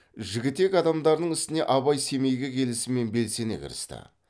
жігітек адамдарының ісіне абай семейге келісімен белсене кірісті